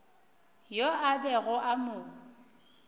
yo a bego a mo